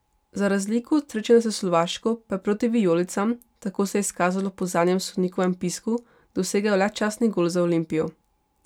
Za razliko od srečanja s Slovaško pa je proti vijolicam, tako se je izkazalo po zadnjem sodnikovem pisku, dosegel le častni gol za Olimpijo.